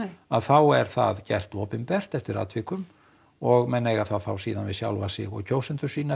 að þá er það gert opinbert eftir atvikum og menn eiga það þá við sjálfa sig og kjósendur sína